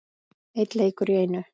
Einn leikur í einu.